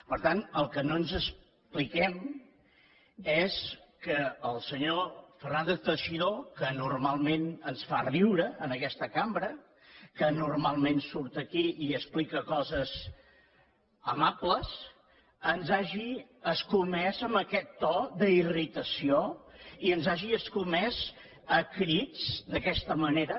per tant el que no ens expliquem és que el senyor fernández teixidó que normalment ens fa riure en aquesta cambra que normalment surt aquí i explica coses amables ens hagi escomès amb aquest to d’irritació i ens hagi escomès a crits d’aquesta manera